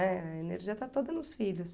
Eh, a energia está toda nos filhos.